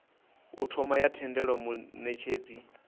u thoma ya tendela munetshedzi